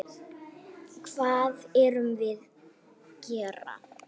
Hvað erum við gera?